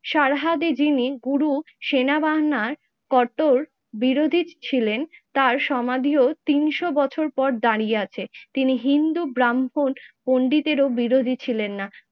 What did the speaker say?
সারহাদে যিনি গুরু সেনাবাহিনীর কট্টর বিরোধী ছিলেন তার সমাধিও তিনশো বছর পর দাঁড়িয়ে আছে। তিনি হিন্দু ব্রাহ্মণ পন্ডিতেরও বিরোধী ছিলেন না।